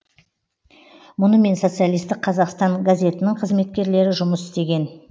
мұнымен социалистік қазақстан газетінің қызметкерлері жұмыс істеген